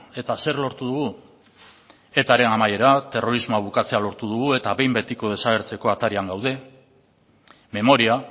eta zer lortu dugu etaren amaiera terrorismoa bukatzea lortu dugu eta behin betiko desagertzeko atarian gaude memoria